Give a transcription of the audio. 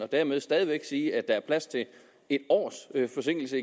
dermed stadig væk sige at der plads til et års forsinkelse